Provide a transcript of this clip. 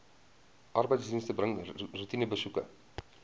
arbeidsdienste bring roetinebesoeke